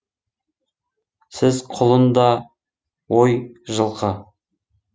сөз құлын да ой жылқы